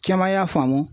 Caman y'a faamu